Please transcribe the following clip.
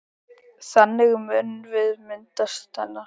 Þannig munum við minnast hennar.